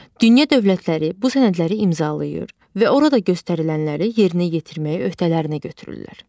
Dünya dövlətləri bu sənədləri imzalayır və orada göstərilənləri yerinə yetirməyə öhdələrinə götürürlər.